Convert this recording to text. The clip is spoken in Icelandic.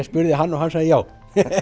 spurði hann og hann sagði já